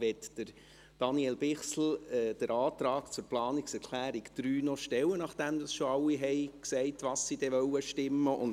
Möchte Daniel Bichsel den Antrag zur Planungserklärung 3 noch stellen, nachdem schon alle gesagt haben, wie sie abstimmen werden?